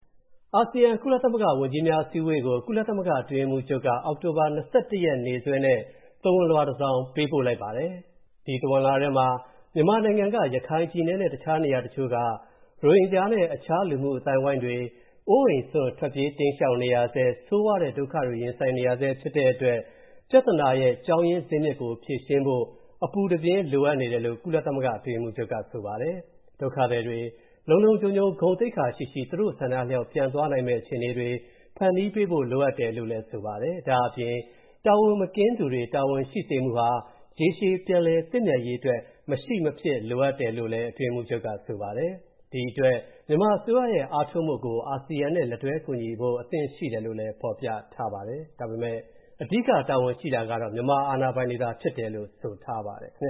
အာဆီယံ- ကုလသမဂ္ဂ ဝန်ကြီးများအစည်းအဝေးကို ကုလသမဂ္ဂအတွင်းရေးမှူးချုပ်က အောက်တိုဘာ ၂၁ ရက် နေ့စွဲနဲ့ သဝဏ်လွှာတစောင်ပေးပို့လိုက်ပါတယ်။ အဲဒီသဝဏ်လွှာထဲမှာ မြန်မာနိုင်ငံ ရခိုင်ပြည်နယ် နဲ့ တခြားနေရာတချိုက ရိုဟင်ဂျာ နဲ့ တခြားလူမှု အသိုင်းအဝိုင်းတွေ အိုးအိမ်စွန့် ထွက်ပြေးတိမ်းရှောင်နေရဆဲ ဆိုးရွားတဲ့ ဒုက္ခတွေရင်ဆိုင်နေရဆဲ ဖြစ်နေတဲ့အတွက် ပြဿနာရဲ့ ကြောင်းရင်းဇစ်မြစ်ကို ဖြေရှင်းဖို့ အပူတပြင်းလိုအပ်နေတယ် လို့ ကုလသမဂ္ဂအတွင်းရေးမှူးချုပ် ကဆိုပါတယ်။ ဒုက္ခသည်တွေ လုံလုံခြုံခြုံ ဂုဏ်သိက္ခာရှိရှိ သူတို့ဆန္ဒအလျောက် ပြန်သွားနိုင်မယ့် အခြေအနေတွေ ဖန်တီးပေးဖို့လိုအပ်တယ်လို့ လဲဆိုပါတယ်။ ဒါ့အပြင်တာဝန်မကင်းသူတွေ တာဝန်ရှိစေမှုဟာ ရေရှည်ပြန်လည်သင့်မြန်ရေးအတွက် မရှိအဖြစ်လိုအပ်တယ်လို့လဲဆိုပါတယ်။ ဒီအတွက် မြန်မာအစိုးရရဲ့ အားထုတ်မှုကို အာဆီယံနဲ့ လက်တွဲကူညီဖို့ အဆင်သင့်ရှိတယ်လို့လဲ ဖော်ပြထားပါတယ်၊ ဒါပေမဲ့ အဓိက တာဝန်ရှိတာကတော့ မြန်မာအာဏာပိုင်တွေ ဖြစ်တယ်လို့လဲ ဆိုပါတယ်။ ပင